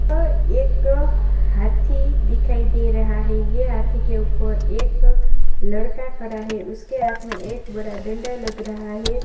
अअ एक हाथी दिखाई दे रहा है ये हाथी के ऊपर एक लड़का खड़ा है उसके हाथ में एक बड़ा डंडा लग रहा है।